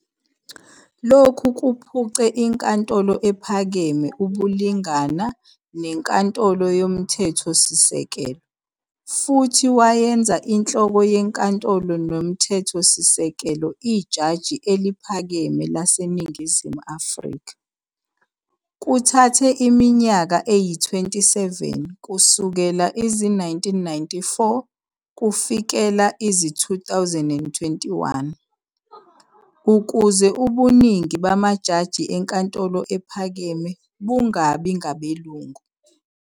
Lokhu kuphuce iNkantolo ePhakeme ubulingana neNkantolo YoMthethosisekelo futhi wayenza inhloko yeNkantolo yoMthethosisekelo iJaji eliPhakeme laseNingizimu Afrika. Kuthathe iminyaka eyi-27 kusukela izi-1994 kufikela izi-2021, ukuze ubuningi bamajaji eNkantolo Ephakeme bungabi ngabelungu.